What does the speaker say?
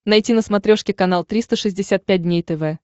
найти на смотрешке канал триста шестьдесят пять дней тв